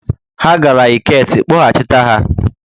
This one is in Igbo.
Ha gara Eket, kpọghachịta ha!